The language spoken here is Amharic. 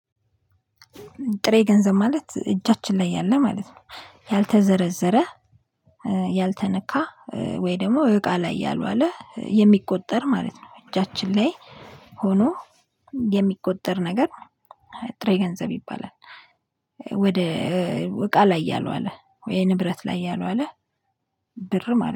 ጥሬ ገንዘብ ማለት እጃችን ላይ ያለ ማለት ነው ያልተዘረዘረ ያልተነካ ወይ ደግሞ እቃ ላይ ያልዋለ የሚቆጠር ማለት ነው። እጃችን ላይ ሆኖ የሚቆጠር ነገር ጥሬ ገንዘብ ይባላል። ወደ እቃ ላይ የልዋለ ወይ ንብረት ላይ ያልዋለ ብር ማለት ነው